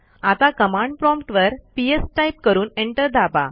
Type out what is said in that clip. आता command prompt वर PS type करून एंटर दाबा